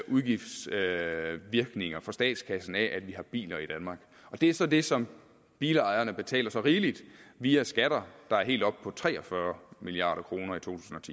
udgiftsvirkninger for statskassen af at vi har biler i danmark og det er så det som bilejerne betaler så rigeligt via skatter der var helt oppe på tre og fyrre milliard kroner